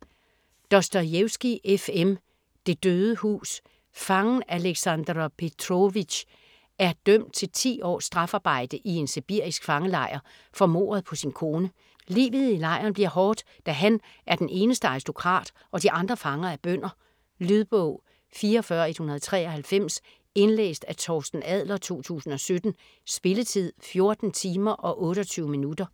Dostojevskij, F. M.: Det døde hus Fangen Aleksander Petróvitsj er dømt til ti års strafarbejde i en sibirisk fangelejr for mordet på sin kone. Livet i lejren bliver hårdt, da han er den eneste aristokrat og de andre fanger er bønder. Lydbog 44193 Indlæst af Torsten Adler, 2017. Spilletid: 14 timer, 28 minutter.